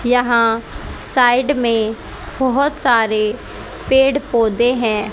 यहां साइड में बहुत सारे पेड़ पौधे हैं।